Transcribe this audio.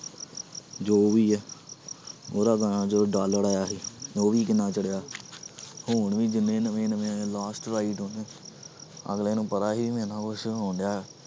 ਜੋ ਵੀ ਹੈ ਉਹਦਾ ਗਾਣਾ ਜੋ ਡਾਲਰ ਆਇਆ ਸੀ ਉਹ ਵੀ ਕਿੰਨਾ ਚੜ੍ਹਿਆ ਹੁਣ ਵੀ ਜਿੰਨੇ ਨਵੇਂ ਨਵੇਂ ਆਏ ਆ last ride ਉਹਨੇ ਅਗਲੇ ਨੂੰ ਪਤਾ ਸੀ ਵੀ ਮੇਰੇ ਨਾਲ